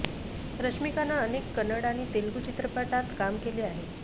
रश्मीकानं अनेक कन्नड आणि तेलगु चित्रपटात काम केलं आहे